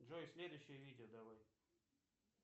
джой следующее видео давай